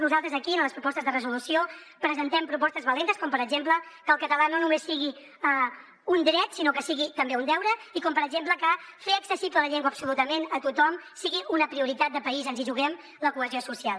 nosaltres aquí en les propostes de resolució presentem propostes valentes com per exemple que el català no només sigui un dret sinó que sigui també un deure i com per exemple que fer accessible la llengua absolutament a tothom sigui una prioritat de país ens hi juguem la cohesió social